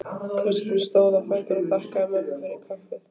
Kristín stóð á fætur og þakkaði mömmu fyrir kaffið.